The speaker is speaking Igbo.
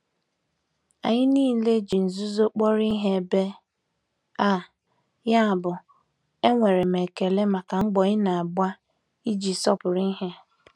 Anyị niile ji nzuzo kpọrọ ihe ebe a, yabụ enwere m ekele maka mbọ ị na-agba iji sọpụrụ ihe.